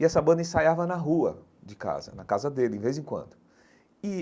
E essa banda ensaiava na rua de casa, na casa dele, de vez em quando e.